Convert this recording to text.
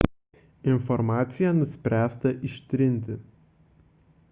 informaciją nuspręsta ištirti